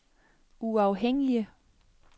uafhængige